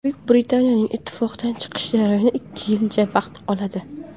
Buyuk Britaniyaning ittifoqdan chiqishi jarayoni ikki yilcha vaqt oladi.